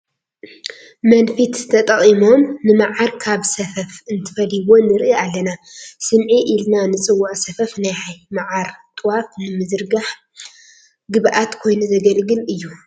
መንፊት ተጠቒሞም ንመዓር ካብ ሰፈፉ እንትፈልይዎ ንርኢ ኣለና፡፡ ስምዒ ኢልና ንፅውዖ ሰፈፍ ናይ መዓር ጡዋፍ ንምዝራሕ ግብኣት ኮይኑ ዘገልግል እዩ፡፡